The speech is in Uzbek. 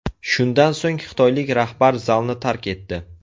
Shundan so‘ng xitoylik rahbar zalni tark etdi.